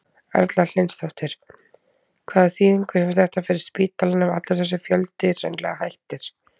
Erla Hlynsdóttir: Hvaða þýðingu hefur þetta fyrir spítalann ef allur þessi fjöldi hreinlega hættir?